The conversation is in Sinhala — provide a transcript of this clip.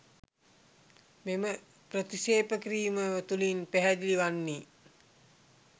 මෙම ප්‍රතික්‍ෂේප කිරීම තුළින් පැහැදිලි වන්නේ